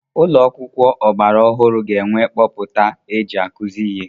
Ụlọ akwụkwọ ọgbara ọhụrụ ga-enwe kpọputa eji akụzi ihe.